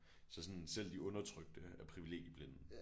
Så sådan selv de undertrykte er privilegieblinde